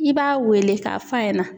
I b'a wele ka f'a ɲɛna.